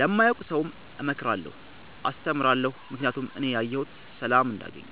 ለማያውቅ ሠውም እመክራለሁ አስተምራለሁ ምክኒያቱም እኔ ያየሁትን ሠላም እንዲያገኙ